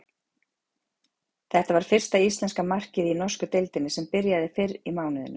Þetta var fyrsta íslenska markið í norsku deildinni sem byrjaði fyrr í mánuðinum.